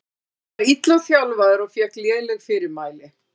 Ég var illa þjálfaður og fékk léleg fyrirmæli.